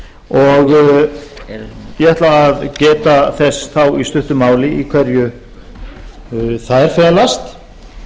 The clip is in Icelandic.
og ég ætla að geta þess þá í stuttu máli í hverju þær felast eins og